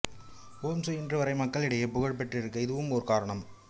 ஓம்சு இன்றுவரை மக்களிடையே புகழ் பெற்றிருக்க இதுவும் ஒரு காரணம்